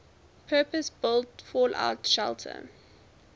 purpose built fallout shelter